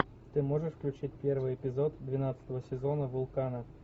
ты можешь включить первый эпизод двенадцатого сезона вулкана